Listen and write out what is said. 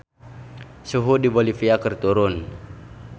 Suhu di Bolivia keur turun